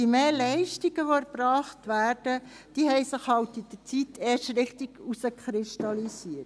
Die Mehrleistungen, die erbracht werden, haben sich erst mit der Zeit herauskristallisiert.